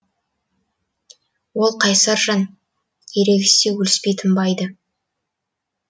ол қайсар жан ерегіссе өліспей тынбайды